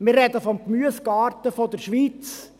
– Wir sprechen vom Gemüsegarten der Schweiz.